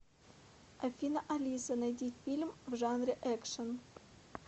афина алиса найди фильм в жанре экшен